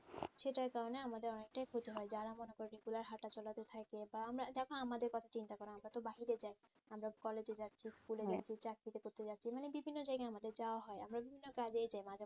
সেটার কারণে আমাদের অনেকটাই ক্ষতি হয় যারা মনে করো regular হাঁটাচলাতে থাকে বা আমরা দেখ আমাদের কথা চিন্তা করো আমরা তো বাহিরে যাই আমরা college এ যাচ্ছি school এ যাচ্ছি চাকরি করতে যাচ্ছি মানে বিভিন্ন জায়গায় আমাদের যাওয়া হয় আমরা বিভিন্ন কাজে যাই